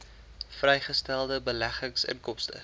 vrygestelde beleggingsinkomste